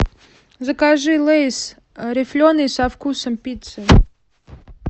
закажи лэйс рифленый со вкусом пиццы